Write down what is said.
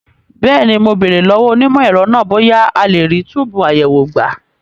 Bẹ́ẹ̀ni, mo béèrè lọ́wọ́ onímọ̀ ẹ̀rọ náà bóyá a lè rí túbùù àyẹ̀wò gbà.